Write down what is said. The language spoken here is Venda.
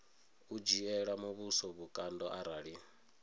u dzhiela muvhuso vhukando arali